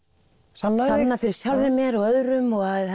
sanna fyrir sjálfri mér og öðrum